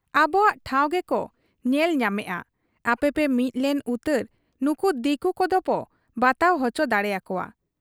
ᱟᱵᱚᱣᱟᱜ ᱴᱷᱟᱶ ᱜᱮᱠᱚ ᱧᱮᱞ ᱧᱟᱢᱮᱜ ᱟ ᱾ ᱟᱯᱮᱯᱮ ᱢᱤᱫ ᱞᱮᱱ ᱩᱛᱟᱹᱨ ᱱᱩᱠᱩ ᱫᱤᱠᱩ ᱠᱚᱫᱚᱵᱚ ᱵᱟᱛᱟᱣ ᱚᱪᱚ ᱫᱟᱲᱮ ᱟᱠᱚᱣᱟ ᱾'